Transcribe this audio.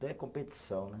Competição, né?